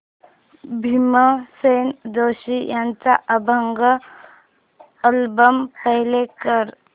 भीमसेन जोशी यांचा अभंग album play कर